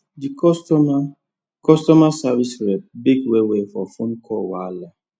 the customer customer service rep beg wellwell for phone call wahala